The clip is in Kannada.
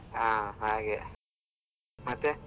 ಹಾ ಹಾಗೆ ಮತ್ತೆ.